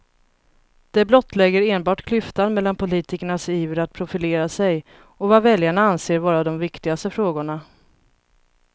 Det blottlägger enbart klyftan mellan politikernas iver att profilera sig och vad väljarna anser vara de viktigaste frågorna.